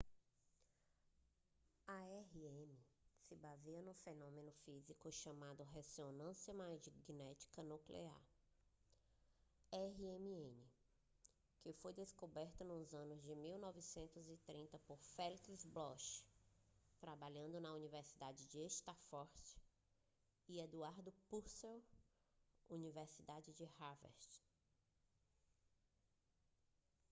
a rm se baseia no fenômeno físico chamado ressonância magnética nuclear rmn que foi descoberta nos anos 1930 por felix bloch trabalhando na universidade de stanford e edward purcell universidade de harvard